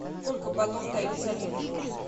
сколько батов дают за ливр